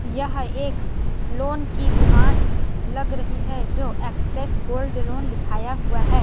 यह एक लोन की दुकान लग रही है जो एक्सप्रेस गोल्ड लोन लिखाया हुआ है।